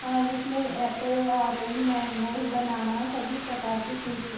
हा जिसमे apple orange banana सभी प्रकार के फ्रूट्स --